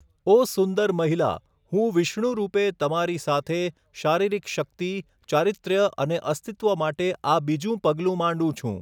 ઓ સુંદર મહિલા, હું વિષ્ણુ રૂપે તમારી સાથે, શારીરિક શક્તિ, ચારિત્ર્ય અને અસ્તિત્વ માટે આ બીજું પગલું માંડું છું.